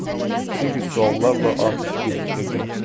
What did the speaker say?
Çünki suallarla atəşi gecikdirdim.